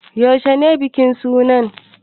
Yaushe ne bikin suna?